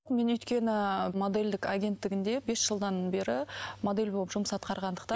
мен өйткені ыыы модельдік агенттігінде бес жылдан бері модель болып жұмыс атқарғандықтан